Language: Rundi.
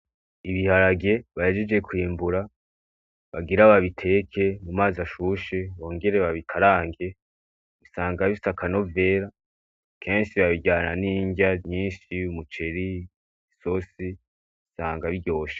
Ibiharage ,bahejeje kwimbura ,bagira babiteke ,mumazi ashushe, bongere babikarange ,usanga bifise aka novera ,kenshi babiryana n'irya nyinshi umuceri, isosi, usanga biryoshe.